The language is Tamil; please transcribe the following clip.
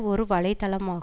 ஒரு வலை தளமா